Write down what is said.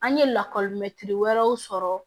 An ye lakɔli wɛrɛw sɔrɔ